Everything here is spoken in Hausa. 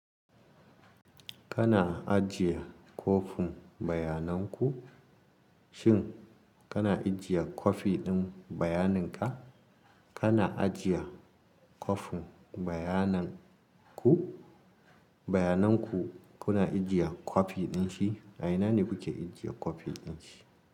Kana ajiye kwafin bayanan ku, shin kana ajiye kwafi ɗin bayanin ka? Kana ajiye kwafin bayanan ku? Bayanan ku kuna ajiye kwafi ɗin shi? A ina ne kuke ajiye kwafi ɗin shi?